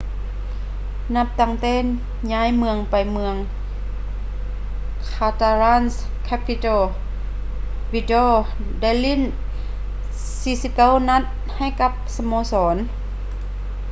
ນັບຕັ້ງແຕ່ຍ້າຍໄປເມືອງ catalan-capital vidal ໄດ້ຫຼີ້ນ 49 ນັດໃຫ້ກັບສະໂມສອນ